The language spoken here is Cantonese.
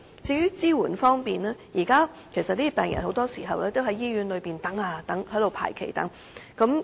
在支援方面，有關病人很多時候只能在醫院排期等候。